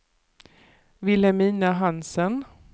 Vilhelmina Hansen